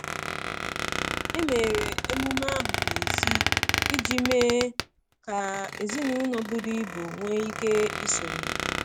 Emere emume ahụ n’èzí iji mee ka ezinụlọ buru ibu nwee ike isonye.